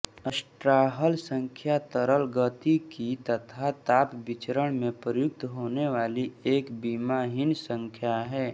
Strouhal संख्या तरल गतिकी तथा ताप विचरण में प्रयुक्त होने वाली एक विमाहीन संख्या है